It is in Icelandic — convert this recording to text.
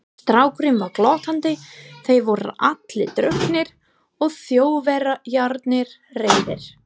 Strákurinn var glottandi, þeir voru allir drukknir og Þjóðverjarnir reiðir.